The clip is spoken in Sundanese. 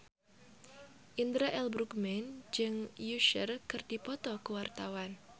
Indra L. Bruggman jeung Usher keur dipoto ku wartawan